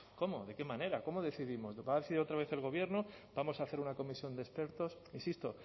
cómo de qué manera cómo decidimos lo va a decidir otra vez el gobierno vamos a hacer una comisión de expertos insisto